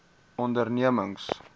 ondernemings